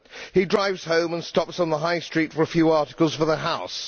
He drives home and stops on the high street for a few articles for the house.